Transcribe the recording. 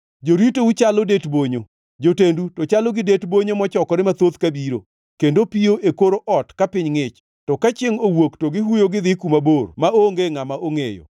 Joritou chalo det bonyo, jotendu to chalo gi det bonyo mochokore mathoth kabiro, kendo piyo e kor ot ka piny ngʼich, to ka chiengʼ owuok to gihuyo gidhi kuma mabor maonge ngʼama ongʼeyo.